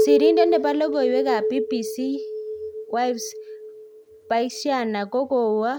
Sirindet nebo lokoiwek ab BBC Yves Bucyana kokowe